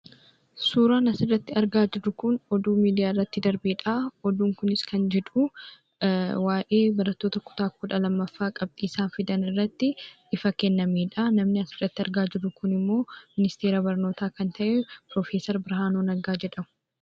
Suuraan asirratti argaa jirru kun oduu miidiyaarratti darbedha. Oduun kunis kan jedhu, waa'ee barattoota kutaa kudha lammaffaa qabxii isaan fidanirratti ibsa kennamedhaa. Namni asirratti argaa jirru kunimmoo ministeera barnootaa kan ta'e piroofeser Birhaanuu Neggaa jedhamu.